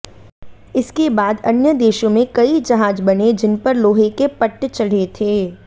इसके बाद अन्य देशों में कई जहाज बने जिनपर लोहे के पट्ट चढ़े थे